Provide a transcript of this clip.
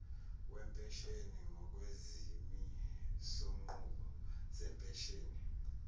wempesheni ngokwezimisonqubo zempesheni